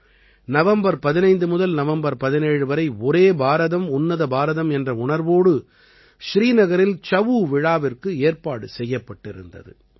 November 15 முதல் November 17 வரை ஒரே பாரதம் உன்னத பாரதம் என்ற உணர்வோடு ஸ்ரீநகரில் சஉ விழாவிற்கு ஏற்பாடு செய்யப்பட்டிருந்தது